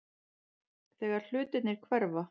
Þegar hlutirnir hverfa